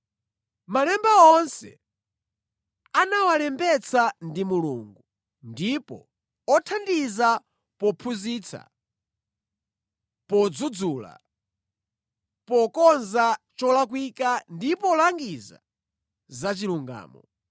Malemba onse anawalembetsa ndi Mulungu, ndipo othandiza pophunzitsa, podzudzula, pokonza cholakwika ndi polangiza za chilungamo